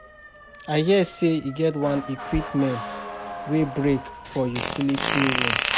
I hear say e get one equipment wey break for utility room